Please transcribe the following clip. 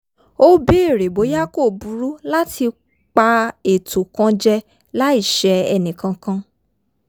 ó bèèrè bóyá kò burú láti pa ètò kan jẹ láì ṣẹ ẹnìkankan